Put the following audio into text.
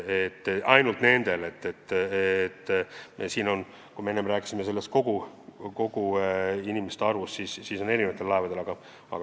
Enne me rääkisime üldse inimestest, kes töötavad erinevatel laevadel.